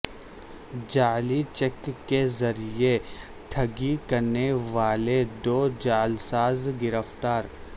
جعلی چیک کے ذریعہ ٹھگی کرنے والے دو جعلساز گرفتار